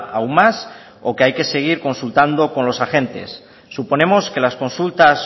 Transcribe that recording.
aún más o que hay que seguir consultando con los agentes suponemos que las consultas